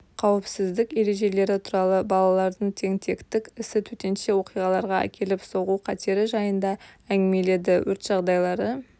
қауіпсіздік ережелері туралы балалардың тентектік ісі төтенше оқиғаларға әкеліп соғу қатері жайында әңгімеледі өрт жағдайлары